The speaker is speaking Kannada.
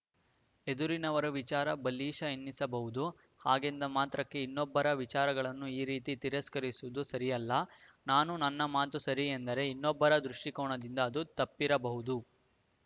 ಎದುರಿನವರು ವಿಚಾರ ಬಾಲಿಶ ಎನ್ನಿಸಬಹುದು ಹಾಗೆಂದ ಮಾತ್ರಕ್ಕೆ ಇನ್ನೊಬ್ಬರ ವಿಚಾರಗಳನ್ನು ಈ ರೀತಿ ತಿರಸ್ಕರಿಸುವುದು ಸರಿಯಲ್ಲ ನಾನು ನನ್ನ ಮಾತು ಸರಿ ಎಂದರೆ ಇನ್ನೊಬ್ಬರ ದೃಷ್ಟಿಕೋನದಿಂದ ಅದು ತಪ್ಪಿರಬಹುದು